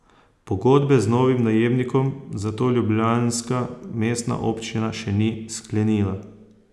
Pogodbe z novim najemnikom zato ljubljanska mestna občina še ni sklenila.